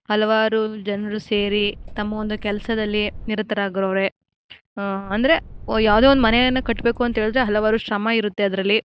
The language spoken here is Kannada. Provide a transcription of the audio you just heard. ಹಲವಾರು ಜನರು ಸೇರಿ ತಮ್ಮ ಒಂದು ಕೆಲಸದಲ್ಲಿ ನಿರತರಾಗವ್ರೆ ಆ ಅಂದ್ರೆ ಯಾವುದೊ ಒಂದು ಮನೆಯನ್ನು ಕಟ್ಟಬೇಕು ಅಂತ ಹೇಳಿದ್ರೆ ಹಲವಾರು ಶ್ರಮ ಇರುತ್ತೆ ಅದರಲ್ಲಿ.